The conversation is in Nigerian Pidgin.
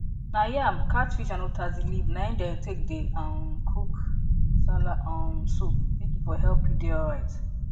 na yam catfish and utazi leaf na im dey take dey um cook nsala um soup may e for help you dey alright